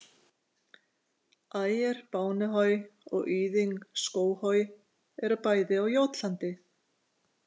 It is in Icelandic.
Ejer Bavnehöj og Yding Skovhöj eru bæði á Jótlandi.